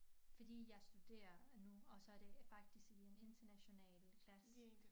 Fordi jeg studerer nu og så det faktisk i en international klasse